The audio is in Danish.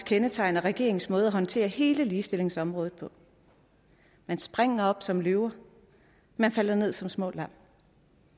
kendetegner regeringens måde at håndtere hele ligestillingsområdet på man springer op som løver og man falder ned som små kan bare